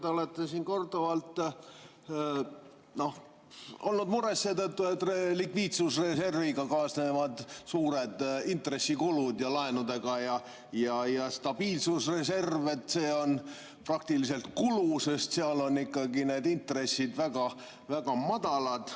Te olete siin korduvalt olnud mures seetõttu, et likviidsusreservi ja laenudega kaasnevad suured intressikulud ning et stabiliseerimisreserv on praktiliselt kulu, sest seal on intressid väga madalad.